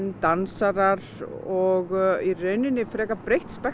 dansarar og í rauninni frekar breitt